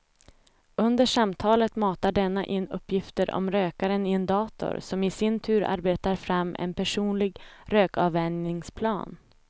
Under samtalet matar denna in uppgifter om rökaren i en dator som i sin tur arbetar fram en personlig rökavvänjningsplan.